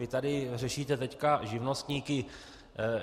Vy tady řešíte teď živnostníky.